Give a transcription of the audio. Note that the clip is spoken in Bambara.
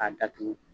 K'a datugu